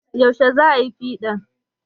Yaushe za ayi piɗan?